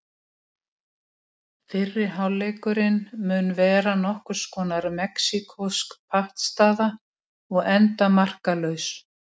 Fyrri hálfleikurinn mun vera nokkurs konar mexíkósk pattstaða og enda markalaus.